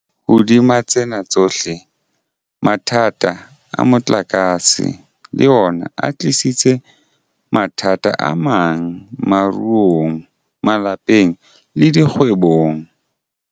Hodima tsena tsohle, mathata a motlakase le ona a tlisitse mathata amang moruong, malapeng le dikgwebong.